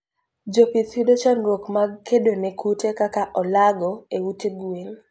Jopith yudo chandruok mag kedone kute kaka olago e ute gwen